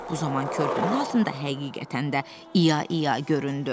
Bu zaman körpünün nasında həqiqətən də İya-iya göründü.